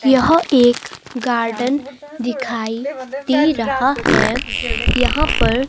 यह एक गार्डन दिखाई दे रहा है। यहां पर--